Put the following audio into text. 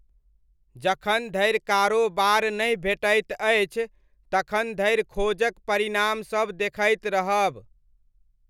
जखन धरि कारोबार नहि भेटैत अछि तखन धरि खोजक परिणामसब देखैत रहब।